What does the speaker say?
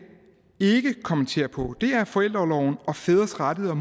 ikke kommenterer på er forældreorlov og fædres rettigheder og